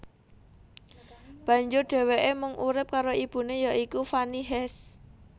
Banjur dheweke mung urip karo ibune ya iku Fanny Hes